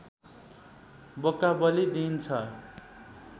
बोका बलि दिइन्छ